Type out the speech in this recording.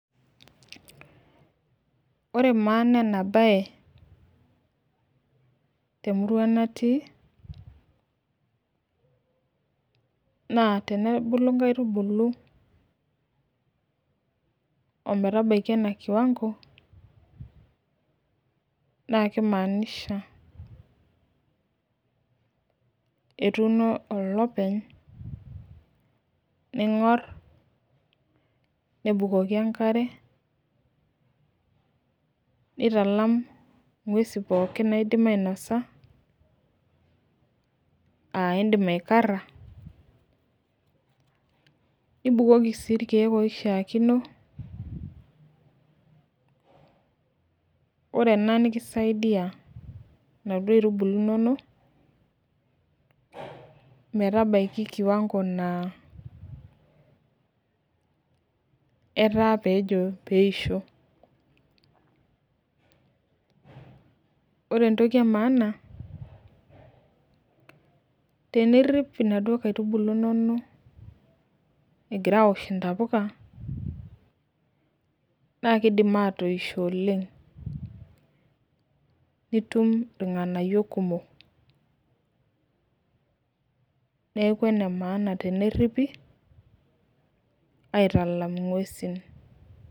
Ore maana enabae temurua natii naa tenebulu nkaitubulu ometabaki ena na kimaanisha etuuno olopeny ningor nebukoki enkare nitalam ngwesi pooki naidim ainasa aa indim aikara nibukoki irkiek oishaakino ore ena nikisaidia naduo aitubulu inonok merabaki kiwango na etaa pejo peisho ore entoki emaana tenirip naduo aitubulu inonok na kidim atoisho oleng nitum irnganayio kumok neaku enemaana teneripi aitalam ingwesi.